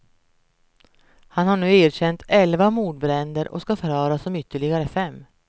Han har nu erkänt elva mordbränder och ska förhöras om ytterligare fem.